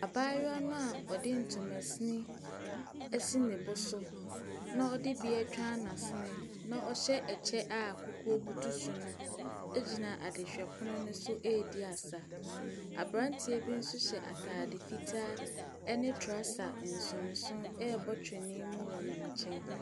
Abaayewa no a ɔde ntoma sini asi ne bo so na ɔde bi atwa n’asene na ɔhyɛ kyɛ a kukuo butu so no gyina adehwɛpono ne so ɛredi asa. Aberanteɛ bi nso hyɛ ataade fitaa ne trouser nsonsono ɛrebɔ twene mu wɔ ne nkyɛn.